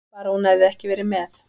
Bara hún hefði ekki verið með.